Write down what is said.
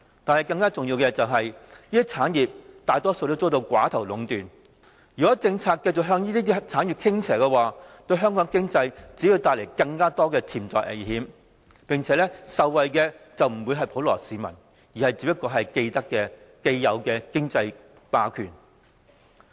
但是，更加重要的是，這些產業大多遭到寡頭壟斷，如果政策繼續向這些產業傾斜的話，對香港經濟只會帶來更多潛在危險，並且受惠的不是普羅市民，而是現有的經濟霸權。